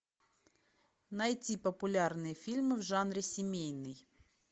найти популярные фильмы в жанре семейный